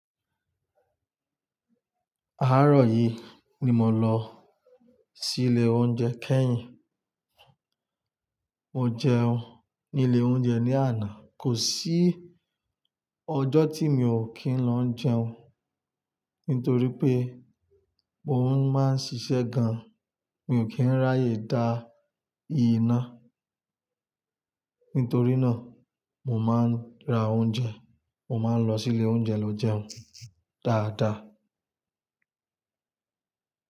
Àárọ̀ yìí ni mò ń lọ sí ilé oúnjẹ kẹ́yìn. Mo jẹun ní ilé oúnjẹ ní àná. Kò sí ọjọ́ tí mi ò kí ń lọ jẹun, nítorí pé mò ń máa ń ṣiṣẹ́ gan, mi ò kí ń ráyè dá iná. Nítorí náà, mo máa ń ra oúnjẹ, mo máa ń lọ sí ilé oúnjẹ lọ jẹun dáadáa.